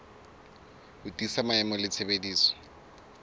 ho tiisa maemo le tshebediso